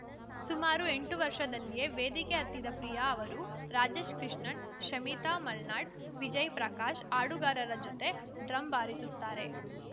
ಸುಮಾರು ಎಂಟು ವರ್ಷದಲ್ಲಿಯೇ ವೇದಿಕೆ ಹತ್ತಿದ ಪ್ರಿಯಾ ಅವರು ರಾಜೇಶ್‌ ಕೃಷ್ಣನ್‌ ಶಮಿತಾ ಮಲ್ನಾಡ್‌ ವಿಜಯ್‌ ಪ್ರಕಾಶ್‌ ಹಾಡುಗಾರರ ಜೊತೆ ಡ್ರಮ್‌ ಬಾರಿಸುತ್ತಾರೆ